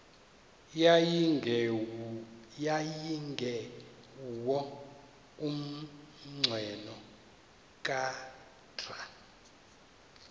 yayingenguwo umnqweno kadr